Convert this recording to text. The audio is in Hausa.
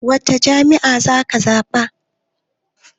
Wacce jam'iyya zaka zaɓa?